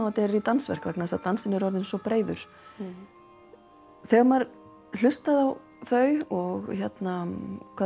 og dansverk vegna þess að dansinn er orðinn svo breiður þegar maður hlustaði á þau og hvað